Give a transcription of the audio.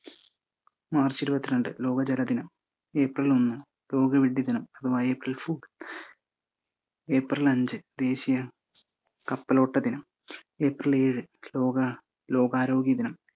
March ഇരുപത്തിരണ്ട് ലോക ജലദിനം, ഏപ്രിൽ ഒന്ന് ലോകവിഢി ദിനം അഥവാ ഏപ്രിൽ fool ഏപ്രിൽ അഞ്ച് ദേശിയ കപ്പലോട്ട ദിനം, ഏപ്രിൽ ഏഴ് ലോക~ലോക ആരോഗ്യ ദിനം